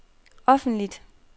offentligt